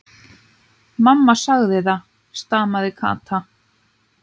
Mamma segir það, stamaði Kata.